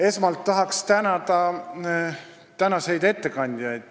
Esmalt tahan tänada tänaseid ettekandjaid.